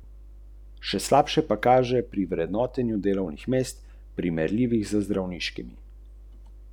Na tem mestu z vami delim štiri filme, ki so me na Londonskem filmskem festivalu najbolj presenetili, pretresli, ganili in ki mi še nekaj časa ne bodo dali miru.